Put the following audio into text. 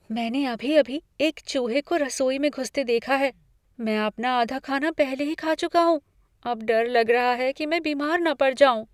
मैंने अभी अभी एक चूहे को रसोई में घुसते देखा है। मैं अपना आधा खाना पहले ही खा चुका हूँ। अब डर लग रहा है कि मैं बीमार न पड़ जाऊँ।